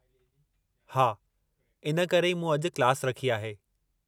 हा, इन करे ई मूं अॼु क्लास रखी आहे।